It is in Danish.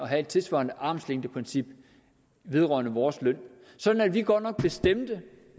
have et tilsvarende armslængdeprincip vedrørende vores løn sådan at vi godt nok bestemte